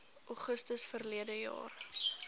augustus verlede jaar